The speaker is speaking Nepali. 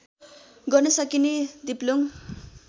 गर्न सकिने दिप्लुङ